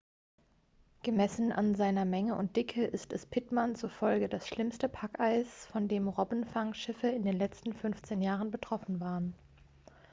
gemessen an seiner menge und dicke ist es pittman zufolge das schlimmste packeis von dem robbenfangschiffe in den letzten 15 jahren betroffen waren